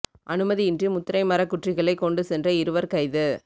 அனுமதியின்றி முதிரை மரக் குற்றிகளை கொண்டு சென்ற இருவர் கைது